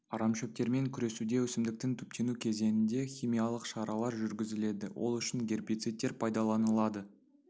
арамшөптермен күресуде өсімдіктің түптену кезеңінде химиялық шаралар жүргізіледі ол үшін гербицидтер пайдаланылады